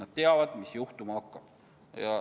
On teada, mis juhtuma hakkab.